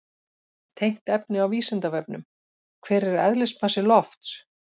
Tengt efni á Vísindavefnum: Hver er eðlismassi lofts?